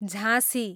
झाँसी